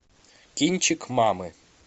кинчик мамы